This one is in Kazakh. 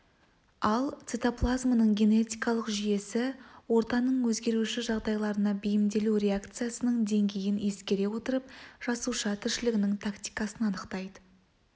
ал цитоплазманың генетикалық жүйесі ортаның өзгеруші жағдайларына бейімделу реакциясының деңгейін ескере отырып жасуша тіршілігінің тактикасын анықтайды